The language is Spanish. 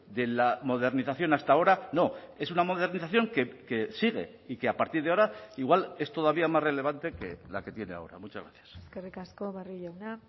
de la modernización hasta ahora no es una modernización que sigue y que a partir de ahora igual es todavía más relevante que la que tiene ahora muchas gracias eskerrik asko barrio jauna